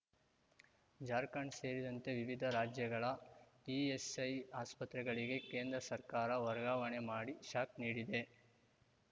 ಜಾರ್ಖಂಡ್ ಸೇರಿದಂತೆ ವಿವಿಧ ರಾಜ್ಯಗಳ ಇಎಸ್‌ಐ ಆಸ್ಪತ್ರೆಗಳಿಗೆ ಕೇಂದ್ರ ಸರ್ಕಾರ ವರ್ಗಾವಣೆ ಮಾಡಿ ಶಾಕ್ ನೀಡಿದೆ